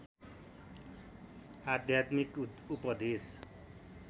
आध्यात्मिक उपदेश